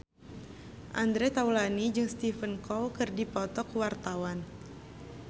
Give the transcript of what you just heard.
Andre Taulany jeung Stephen Chow keur dipoto ku wartawan